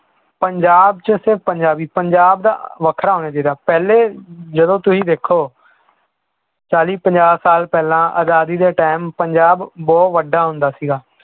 ਪੰਜਾਬ 'ਚ ਸਿਰਫ਼ ਪੰਜਾਬੀ ਪੰਜਾਬ ਦਾ ਵੱਖਰਾ ਹੋਣਾ ਚਾਹੀਦਾ ਪਹਿਲੇ ਜਦੋਂ ਤੁਸੀਂ ਦੇਖੋ ਚਾਲੀ ਪੰਜਾਹ ਸਾਲ ਪਹਿਲਾਂ ਆਜ਼ਾਦੀ ਦੇ time ਪੰਜਾਬ ਬਹੁਤ ਵੱਡਾ ਹੁੰਦਾ ਸੀਗਾ